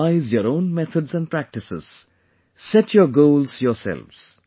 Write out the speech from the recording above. Devise your own methods and practices, set your goals yourselves